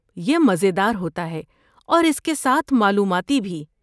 یہ مزیدار ہوتا ہے اور اس کے ساتھ معلوماتی بھی۔